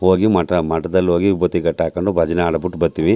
ಹೋಗಿ ಮಠ ಮಠದಲ್ಲಿ ಹೋಗಿ ಉಬತ್ತಿ ಕಟ್ಟ್ ಹಾಕೊಂಡು ಭಜನೆ ಹಾಡ್ಬಿಟ್ ಬತ್ತೀವಿ .